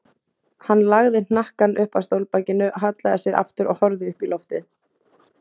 Hann lagði hnakkann upp að stólbakinu, hallaði sér aftur og horfði upp í loftið.